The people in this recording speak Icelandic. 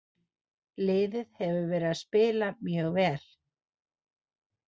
Liðið hefur verið að spila mjög vel.